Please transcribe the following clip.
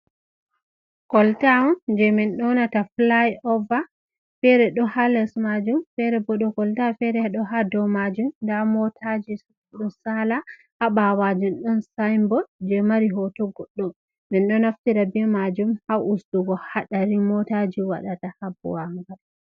Kolta on jei min ɗonata fly over, fere ɗo ha les majum fere bo dou kolta fere do ha dou majum, nda motaji bo ɗo saala ha ɓaawo jum ɗon sainbot jei mari hoto goɗɗo. Min ɗo naftira be majum ha ustugo haɗari mootaaji waɗata ha bowangal.